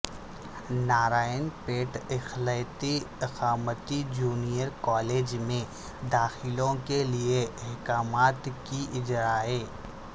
نارائن پیٹ اقلیتی اقامتی junior college میں داخلوں کیلئے احکامات کی اجرائی